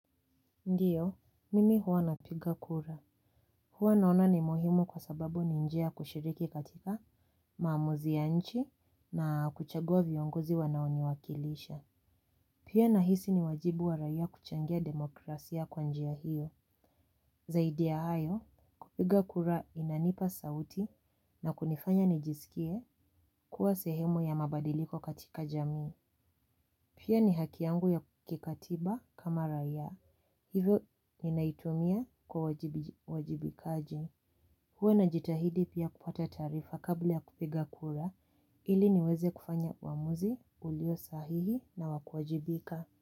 Ndiyo, mimi huwa napiga kura. Huwa naona ni muhimu kwa sababu ni njia ya kushiriki katika maamuzi ya nchi na kuchagua viongozi wanaoniwakilisha. Pia nahisi ni wajibu wa raia kuchangia demokrasia kwa njia hiyo. Zaidi ya hayo, kupiga kura inanipa sauti na kunifanya nijisikie kuwa sehemu ya mabadiliko katika jamii. Pia ni haki yangu ya kikatiba kama raia, hivyo ninaitumia kwa uwajibikaji. Huwe najitahidi pia kupata taarifa kabla ya kupiga kura, ili niweze kufanya uamuzi ulio sahihi na wa kuwajibika.